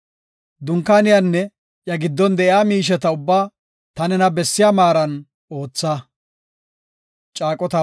Dunkaaniyanne iya giddon de7iya miisheta ubbaa ta nena bessiya maaran ootha.